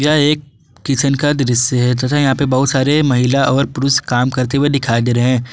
यह एक किचन का दृश्य है तथा यहां पे बहुत सारे महिला और पुरुष काम करते हुए दिखाई दे रहे हैं।